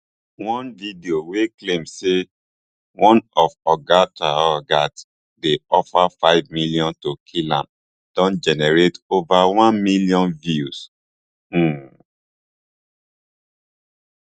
one video wey claim say one of oga traor guards dey offered five million to kill am don generate over one million views um